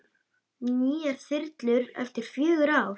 Nýjar þyrlur eftir fjögur ár?